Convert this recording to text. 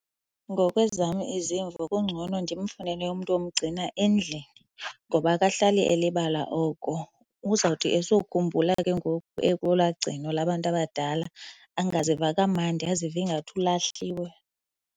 Ngokwezam izimvo, kungcono ndimfunele umntu omgcina endlini ngoba akahlali elibala oko. Uzawuthi esokhumbula ke ngoku ekolaa gcino labantu abadala angaziva kamandi, azive ingathi ulahliwe.